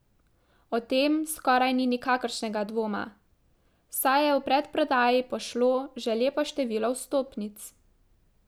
O tem skoraj ni nikakršnega dvoma, saj je v predprodaji pošlo že lepo število vstopnic.